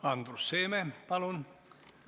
Andrus Seeme, palun!